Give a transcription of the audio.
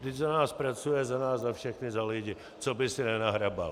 Vždyť za nás pracuje, za nás za všechny, za lidi, co by si nenahrabal?